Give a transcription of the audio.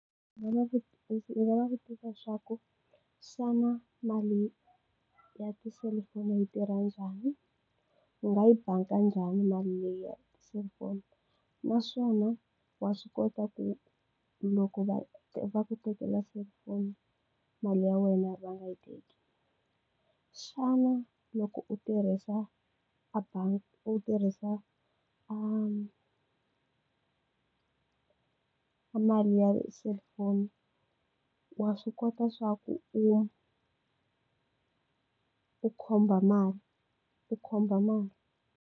Ndzi nga va ndzi nga va vutisa leswaku, xana mali ya ti-cellphone yi tirha njhani? Ndzi nga yi banga njhani mali leyi ya selifoni? Naswona wa swi kota ku loko va va tekela selifoni, mali ya wena ri va nga yi teki? Xana loko u tirhisa u tirhisa a a mali ya selifoni, wa swi kota swa ku u u khomba mali u khomba mali?